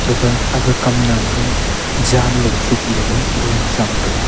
gafa aga kam nam ke janlo chok le lah gagan tham tega.